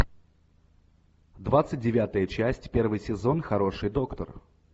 двадцать девятая часть первый сезон хороший доктор